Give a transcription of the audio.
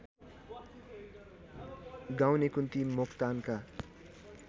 गाउने कुन्ती मोक्तानका